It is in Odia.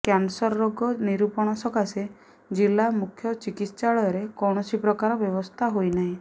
କ୍ୟାନସର ରୋଗ ନିରୂପଣ ସକାଶେ ଜିଲ୍ଲା ମୁଖ୍ୟ ଚିକିତ୍ସାଳୟରେ କୌଣସି ପ୍ରକାର ବ୍ୟବସ୍ଥା ହୋଇନାହିଁ